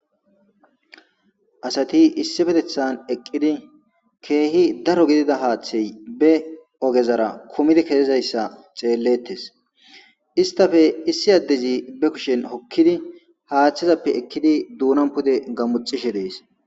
Asati isspetettan eqidi kehi daro gidida hathe be ogezara kumidi kiyizayisa xeletes istappe issi adezi hokizi be kusheni hatheppe ekidi donan pude gamotoshe des